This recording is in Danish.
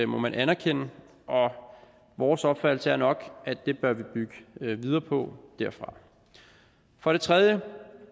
må man anerkende og vores opfattelse er nok at det bør vi bygge videre på for det tredje